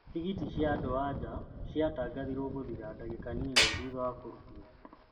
Tigiti cia andũ-a-nja ciatangathirwo gũthira ndagika nini thutha wa kũrutwo.